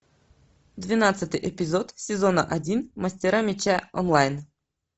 двенадцатый эпизод сезона один мастера меча онлайн